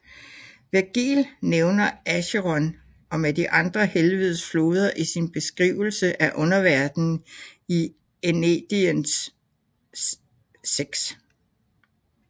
Virgil nævner Acheron med de andre helvedes floder i sin beskrivelse af underverdenen i Æneidens VI